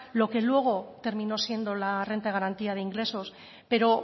lo que luego terminó siendo la renta de garantía de ingresos pero